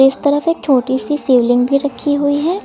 इस तरफ एक छोटी सी शिवलिंग भी रखी हुई है।